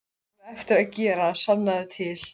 Hann á eftir að gera það, sannaðu til.